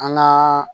An gaa